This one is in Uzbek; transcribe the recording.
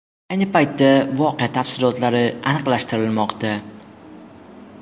Ayni paytda voqea tafsilotlari aniqlashtirilmoqda.